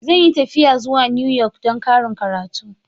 Zan yi tafiya zuwa New York don ƙarin karatu.